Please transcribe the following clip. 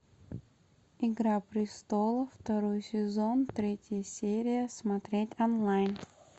игра престолов второй сезон третья серия смотреть онлайн